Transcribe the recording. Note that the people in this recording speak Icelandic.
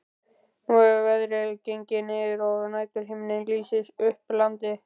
Nú er veðrið gengið niður og næturhiminninn lýsir upp landið.